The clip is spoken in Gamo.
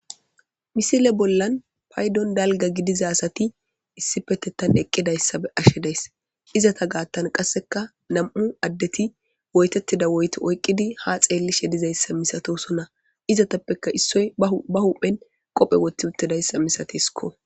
Misile bollan paydon dalgga gidiza asati issipetettan eqqidayssa be7ashe days. Izata gaattan qasseka nam7u addeti woytettida woyte oyqqidi ha xeellishe dizayssa misatosona izatappeka issoy ba huphe ba huphen qophe wothti uttidayssa misatiskko.